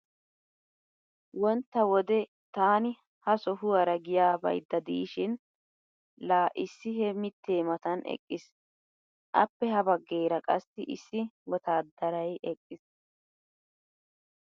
Wontta wode taani ha sohuwaara giya baydda diishin laa issi he mittee matan eqqiis. Appe ha baggeera qassi issi wotaaddaray eqqiis.